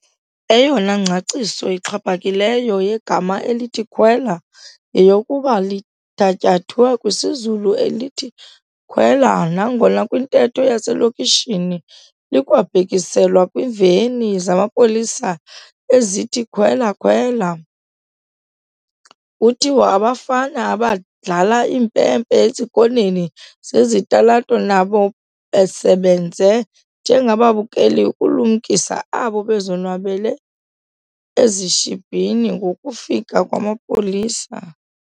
Eyona ngcaciso ixhaphakileyo yegama elithi "khwela" yeyokuba lithatyathwe kwisiZulu elithi "khwela" nangona kwintetho yaselokishini likwabhekiselwa kwiiveni zamapolisa ezithi "khwela-khwela". Kuthiwa abafana abadlala impempe ezikoneni zezitalato nabo basebenze njengababukeli ukulumkisa abo bazonwabele ezishibhini ngokufika kwamapolisa.